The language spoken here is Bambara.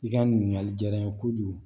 I ka ɲininkali jara n ye kojugu